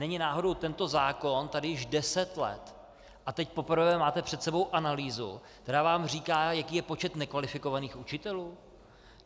Není náhodou tento zákon tady již deset let a teď poprvé máte před sebou analýzu, která vám říká, jaký je počet nekvalifikovaných učitelů?